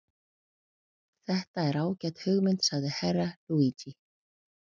Þetta er ágæt hugmynd, sagði Herra Luigi.